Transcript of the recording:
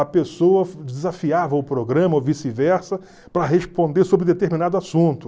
A pessoa desafiava o programa ou vice-e-versa para responder sobre determinado assunto.